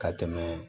Ka tɛmɛ